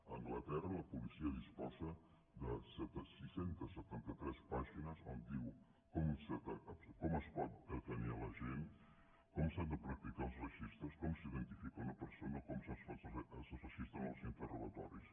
a anglaterra la policia disposa de sis cents i setanta tres pàgines on diu com es pot detenir la gent com s’han de practicar els registres com s’iden·tifica una persona o com s’enregistren els interrogatoris